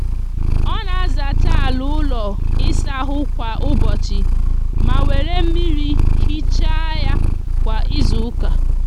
o na azacha ala ulo isa ahu kwa ubochi ma were miri hicha ya kwa izuuka